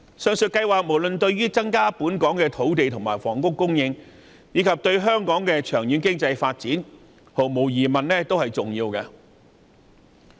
上述計劃對於增加香港的土地及房屋供應，以至促進香港長遠經濟發展，都十分重要。